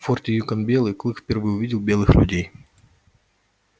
в форте юкон белый клык впервые увидел белых людей